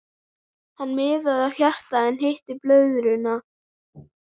Hann miðaði á hjartað en hitti blöðruna.